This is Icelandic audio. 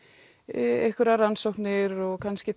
einhverjar rannsóknir og kannski